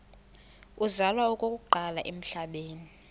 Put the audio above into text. uzalwa okokuqala emhlabeni